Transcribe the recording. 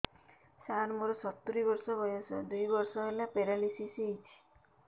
ସାର ମୋର ସତୂରୀ ବର୍ଷ ବୟସ ଦୁଇ ବର୍ଷ ହେଲା ପେରାଲିଶିଶ ହେଇଚି